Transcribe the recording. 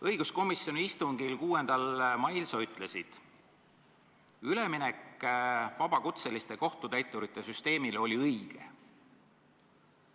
Õiguskomisjoni istungil 6. mail sa ütlesid, et üleminek vabakutseliste kohtutäiturite süsteemile oli õige.